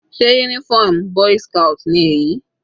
Sé uniform boy's scout ni èyí?